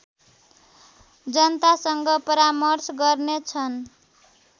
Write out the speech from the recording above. जनतासँग परामर्श गर्नेछन्